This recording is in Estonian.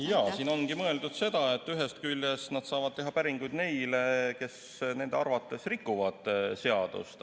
Jaa, siin ongi mõeldud seda, et ühest küljest nad saavad teha päringuid neile, kes inspektsiooni arvates rikuvad seadust.